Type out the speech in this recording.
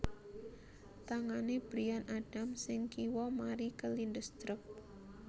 Tangane Bryan Adams sing kiwa mari kelindes truk